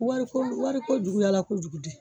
Wari ko wari ko juguyala kojugu de